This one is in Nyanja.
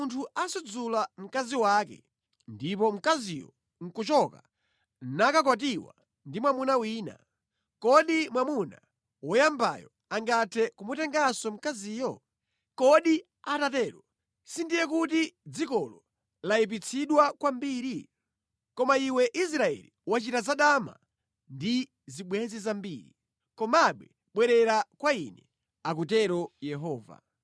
“Ngati munthu asudzula mkazi wake ndipo mkaziyo nʼkuchoka nakakwatiwa ndi mwamuna wina, kodi mwamuna woyambayo angathe kumutenganso mkaziyo? Kodi atatero sindiye kuti dzikolo layipitsidwa kwambiri? Koma iwe Israeli wachita zadama ndi zibwenzi zambiri. Komabe bwerera kwa ine,” akutero Yehova.